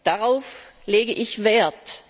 Darauf lege ich Wert!